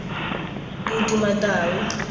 bodumatau